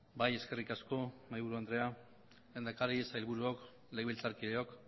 bai eskerrik asko mahaiburu andrea lehendakari sailburuok legebiltzarkideok